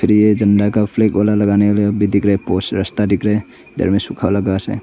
झंडा का फ्लेग गोला लगाने वाले अभी दिख रहा है पोस्ट रास्ता दिख रहे इधर में सुखा वाला घास है।